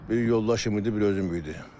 Bir yoldaşım idi, bir özüm idim.